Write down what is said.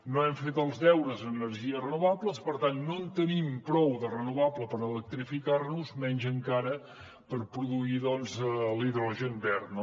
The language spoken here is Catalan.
no hem fet els deures en energies renovables per tant no en tenim prou de renovable per electrificar nos menys encara per produir doncs l’hidrogen verd